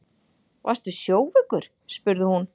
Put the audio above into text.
Varstu sjóveikur, spurði hún.